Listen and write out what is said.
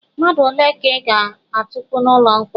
Mmadụ ole ka ị ga-atukpu n'ụlọ mkpọrọ?